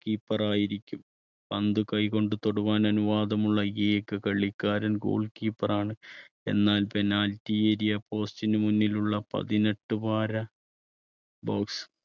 keeper ആയിരിക്കും. പന്ത് കൈകൊണ്ട് തൊടുവാൻ അനുവാദമുള്ള ഏക കളിക്കാരൻ goal keeper ആണ് എന്നാൽ penalty area post നു മുന്നിലുള്ള പതിനെട്ട് വാര box